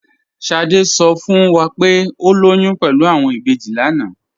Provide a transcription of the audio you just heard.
Sádé sọ fún wá pé o lóyún pẹ̀lú awọn ìbéjì lánà.